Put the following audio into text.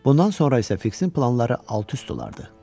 Bundan sonra isə Fiksin planları alt-üst olardı.